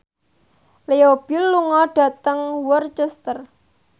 Leo Bill lunga dhateng Worcester